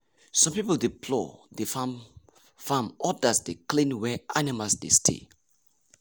some people dey plough the farm farm others dey clean where animals dey stay.